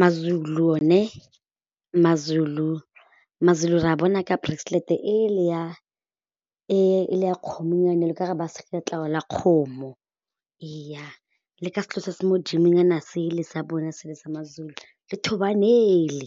Ma-Zulu one ma-Zulu, ma-Zulu ra a bona ka bracelet ele ya e le ya kgomonyana e ka re ba sega letlalo la kgomo eya le ka se se mo'dimo nyana sele sa bone sele sa ma-Zulu le thobane ele,